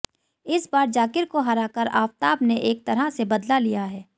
इस बार जाकिर को हराकर आफताब ने एक तरह से बदला लिया है